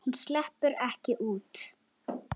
Þúfa gleypti sinn ósigur.